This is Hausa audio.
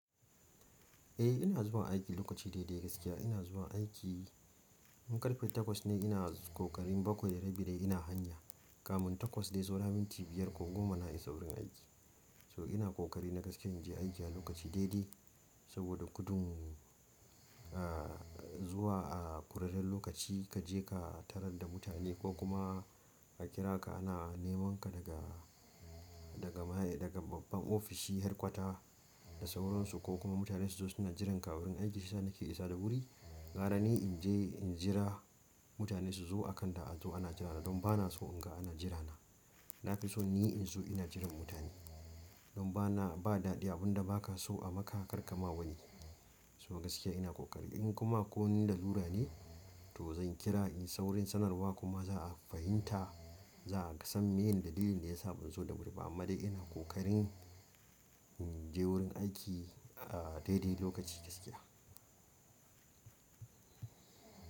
Eh ina zuwa aiki lokaci daidai gaskiya ina zuwa aiki in ƙarfe takwas tayi ina ƙoƙarin bakwai da rabi dai ina hanya, kamin takwas dai saura minti biyar ko goma na isa wurin aiki. So ina ƙoƙari na gaskiya in je aiki a lokaci daidai saboda gudun zuwa a ƙurarren lokaci kaje ka tarar da mutane ko kuma a kira ka ana nemanka daga, daga, daga babban ofishi headquater da sauran su kokuma mutane su zo suna jiran ka a wurin aiki shiyasa nake isa da wuri gara ni in je in jira mutane suzo akan da anzo ana jirana don ba na so in ga ana jirana. Na fi so ni inzo ina jiran mutane. Don ba na, ba daɗi abunda ba ka so a maka kar ka ma wani. So gaskiya ina ƙoƙari in kuma akwai wani lalura ne to zan kira in yi saurin sanarwa kuma za a fahimta. Za a san me ye dalilin da ya sa ban zo da wuri ba amma dai ina ƙoƙarin in je wurin aiki daidai lokaci gaskiya.